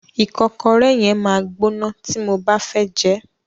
Ìkọ́kọrẹ́ yẹn máa gbóná tí mo bá fẹ́ jẹẹ́.